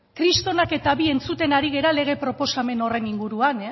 kristorenak eta bi entzuten ari gara lege proposamen horren inguruan